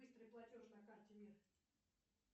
быстрый платеж на карте мир